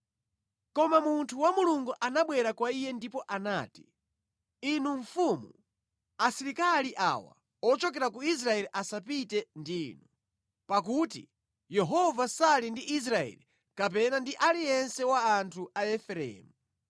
Koma munthu wa Mulungu anabwera kwa iye ndipo anati, “Inu mfumu, asilikali awa ochokera ku Israeli asapite ndi inu, pakuti Yehova sali ndi Israeli kapena ndi aliyense wa anthu a Efereimu.